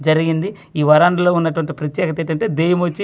జరిగింది ఈ వరండలో ఉన్నటువంటి ప్రత్యేకత ఏమంటే దెయ్యం వచ్చి.